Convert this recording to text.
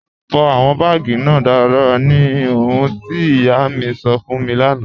Fọ awọn baágì náà daradara ní ọ̀hùn ti iyà mi sọ́ fún mi lána.